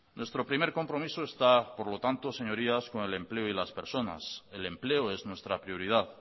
nuestro primer compromiso está por lo tanto señorías con el empleo y las personas el empleo es nuestra prioridad